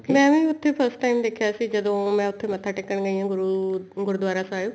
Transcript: ਮੈਂ ਨਾ ਉੱਥੇ first time ਦੇਖਿਆ ਸੀ ਜਦੋਂ ਮੈਂ ਉੱਥੇ ਮੱਥਾ ਟੇਕਣ ਗਈ ਹਾਂ ਗੁਰੂ ਗੁਰੂਦਵਾਰਾ ਸਾਹਿਬ